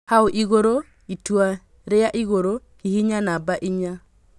Hau igũrũ ( itua ria igũrũ) hihinya namba inya